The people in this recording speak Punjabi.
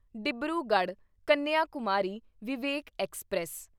ਡਿਬਰੂਗੜ੍ਹ ਕੰਨਿਆਕੁਮਾਰੀ ਵਿਵੇਕ ਐਕਸਪ੍ਰੈਸ